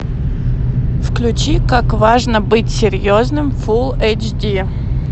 включи как важно быть серьезным фул эйч ди